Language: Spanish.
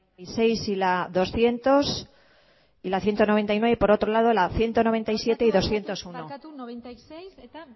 y seis y la doscientos y la ciento noventa y nueve y por otro lado la ciento noventa y siete y doscientos uno barkatu laurogeita hamasei eta